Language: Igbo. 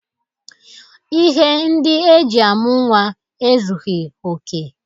Ihe ndi eji amu nwa ezughị oke.